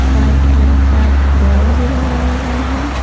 White colour का ball भी लगाया गया है।